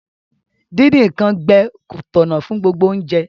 Díndín nkan gbẹ ko tọ̀nà fun gbogbo ounje